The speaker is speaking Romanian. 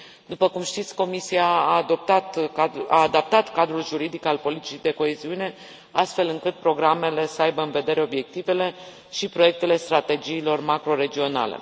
După cum știți, Comisia a adaptat cadrul juridic al politicii de coeziune, astfel încât programele să aibă în vedere obiectivele și proiectele strategiilor macro regionale.